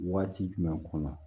Waati jumɛn kɔnɔ